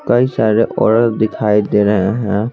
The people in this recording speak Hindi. कई सारे औरत दिखाई दे रहे हैं.